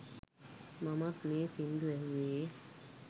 මමත් මේ සිංදු ඇහුවේ